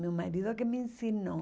Meu marido que me ensinou.